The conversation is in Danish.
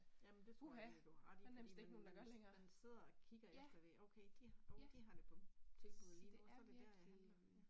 Jamen det tror jeg egentlig, du har ret i, fordi man man man sidder og kigger efter det okay de åh de har det på tilbud lige nu så det der jeg handler ,ja